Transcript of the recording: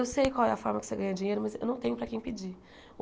Eu sei qual é a forma que você ganha dinheiro, mas eu não tenho para quem pedir.